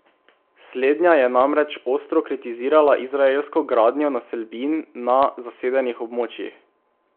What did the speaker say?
Slednja je namreč ostro kritizirala izraelsko gradnjo naselbin na zasedenih območjih.